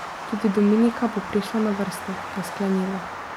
Tudi Dominika bo prišla na vrsto, je sklenila.